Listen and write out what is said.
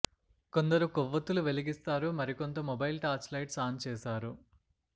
కొందరు కొవ్వొత్తులు వెలిగిస్తారు మరికొంత మొబైల్ టార్చ్ లైట్స్ ఆన్ చేశారు